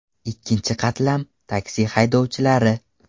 Ikkinchi qatlam, taksi haydovchilari .